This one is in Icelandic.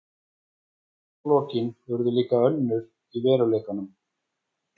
Málalokin urðu líka önnur í veruleikanum.